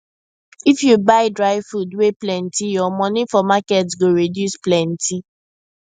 if you buy dry food wey plenty your money for market go reduce plenty